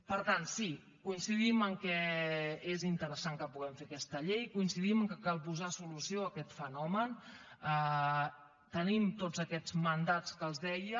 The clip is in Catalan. per tant sí coincidim que és interessant que puguem fer aquesta llei coincidim que cal posar solució a aquest fenomen tenim tots aquests mandats que els deia